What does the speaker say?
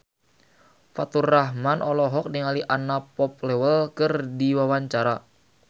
Faturrahman olohok ningali Anna Popplewell keur diwawancara